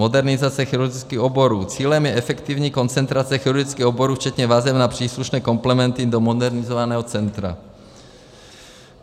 Modernizace chirurgických oborů, cílem je efektivní koncentrace chirurgických oborů včetně vazeb na příslušné komplementy do modernizovaného centra.